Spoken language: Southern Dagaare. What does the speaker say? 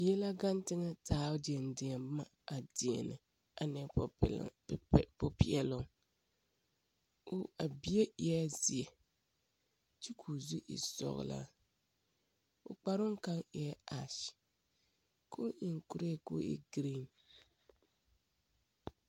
Bie la gaŋe teŋԑ a taa o deԑdeԑ boma adeԑnԑ, a na wa kpԑ popeԑloŋ. O, a bie eԑԑ zeԑ kyԑ ka o zu e sͻgelaa. O kparoŋ kaŋa o naŋ taa su, kyԑ tuŋ kuree koo e giriiŋ.